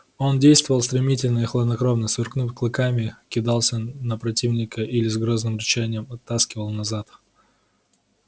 он действовал стремительно и хладнокровно сверкнув клыками кидался на противника или с грозным рычанием оттаскивал назад